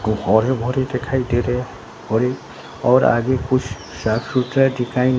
वो हरे भरे दिखाई दे रहे हैं और ये और आगे कुछ साफ सुथरा दिखाई--